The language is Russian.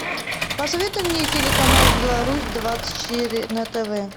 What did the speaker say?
посоветуй мне телеканал беларусь двадцать четыре на тв